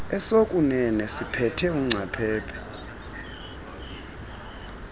esokuunene siphethe ungcaphephe